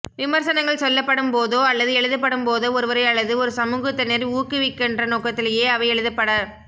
விமர்சனங்கள் சொல்லப்படும் போதோ அல்லது எழுதப்படும் போதோ ஒருவரை அல்லது ஒரு சமூகத்தினரை ஊக்குவிக்கின்ற நோக்கத்திலேயே அவை எழுதப்பட